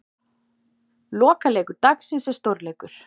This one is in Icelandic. Lokaleikur dagsins er stórleikur.